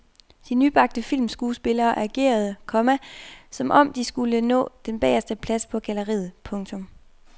De nybagte filmskuespillere agerede, komma som om de skulle nå den bageste plads på galleriet. punktum